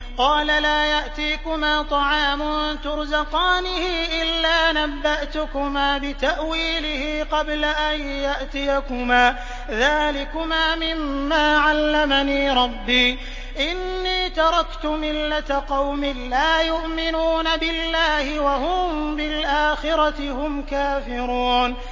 قَالَ لَا يَأْتِيكُمَا طَعَامٌ تُرْزَقَانِهِ إِلَّا نَبَّأْتُكُمَا بِتَأْوِيلِهِ قَبْلَ أَن يَأْتِيَكُمَا ۚ ذَٰلِكُمَا مِمَّا عَلَّمَنِي رَبِّي ۚ إِنِّي تَرَكْتُ مِلَّةَ قَوْمٍ لَّا يُؤْمِنُونَ بِاللَّهِ وَهُم بِالْآخِرَةِ هُمْ كَافِرُونَ